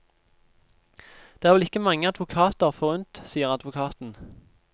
Det er vel ikke mange advokater forunt, sier advokaten.